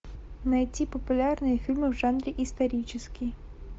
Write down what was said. найти популярные фильмы в жанре исторический